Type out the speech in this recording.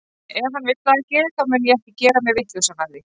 Ef hann vill það ekki, þá mun ég ekki gera mig vitlausan af því.